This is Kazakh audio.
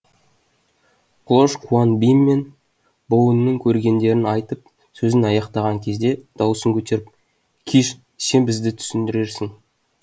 клош куан бим мен боунның көргендерін айтып сөзін аяқтаған кезде дауысын көтеріп киш сен бізге түсіндірерсің